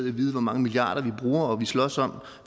i at vide hvor mange milliarder vi bruger og vi slås om